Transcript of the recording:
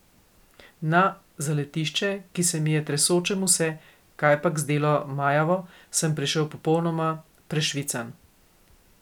Na zaletišče, ki se mi je, tresočemu se, kajpak zdelo majavo, sem prišel popolnoma prešvican.